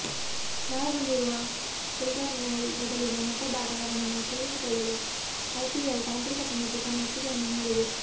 ಗಾಯಗೊಂಡಿರುವ Coulter Nile ಬದಲಿಗೆ ಮತ್ತೊಬ್ಬ ಆಟಗಾರನನ್ನು ಸೇರಿಸಿಕೊಳ್ಳಲು ಐಪಿಎಲ್ ತಾಂತ್ರಿಕ ಸಮಿತಿ ತನ್ನ ಒಪ್ಪಿಗೆಯನ್ನು ನೀಡಿದೆ